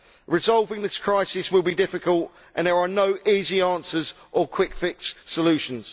Resolving this crisis will be difficult, and there are no easy answers or quick fix solutions.